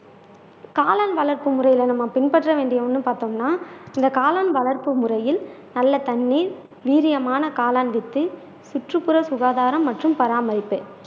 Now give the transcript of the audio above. காளான் வளர்ப்பு முறையில நம்ம பின்பற்ற வேண்டிய ஒன்று பார்த்தோம்னா இந்த காளான் வளர்ப்பு முறையில் நல்ல தண்ணீர் வீரியமான காளான் வித்து சுற்றுப்புற சுகாதாரம் மற்றும் பராமரிப்பு